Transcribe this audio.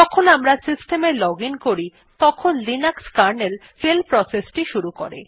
যখন আমরা সিস্টেমে লজিন করি তখন লিনাক্স কার্নেল শেল প্রসেসটি শুরু করে